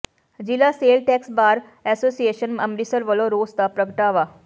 ਜ਼ਿਲ੍ਹਾ sale tax bar association Amritsar ਵੱਲੋਂ ਰੋਸ ਦਾ ਪ੍ਰਗਟਾਵਾ